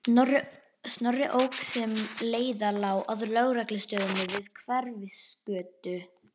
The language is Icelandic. Snorri ók sem leið lá að lögreglustöðinni við Hverfisgötu.